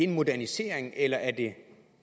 modernisering eller er det